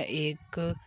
ए-एक--